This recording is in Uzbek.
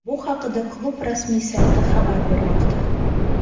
Bu haqida klub rasmiy sayti xabar bermoqda .